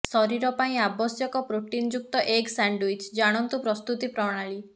ଶରୀର ପାଇଁ ଆବଶ୍ୟକ ପ୍ରୋଟିନଯୁକ୍ତ ଏଗ୍ ସ୍ୟାଣ୍ଡଓ୍ବିଚ ଜାଣନ୍ତୁ ପ୍ରସ୍ତୁତି ପ୍ରଣାଳୀ